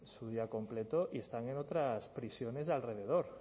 su día completo y están en otras prisiones de alrededor